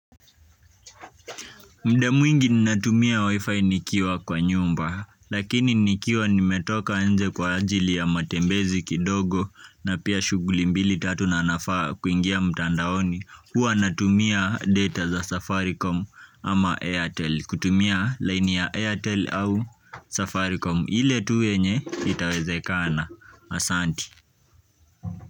Mda mwingi ninatumia Wi-Fi nikiwa kwa nyumba, lakini nikiwa nimetoka nje kwa ajili ya matembezi kidogo na pia shughuli mbili tatu na ninafaa kuingia mtandaoni. Huwa natumia data za safaricom ama airtel. Kutumia line ya airtel au safaricom. Ile tu yenye itawezekana. Asante.